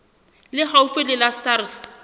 le haufi le la sars